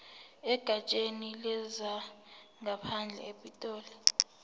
egatsheni lezangaphandle epitoli